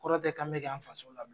Kɔrɔ tɛ kan be k'an faso la